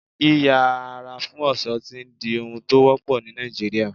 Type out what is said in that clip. Yí yà ara fún ọ̀ṣọ́ ti ń di ohun tó wọ́pọ̀ ni Nàìjíríà.